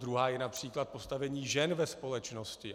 Druhá je například postavení žen ve společnosti.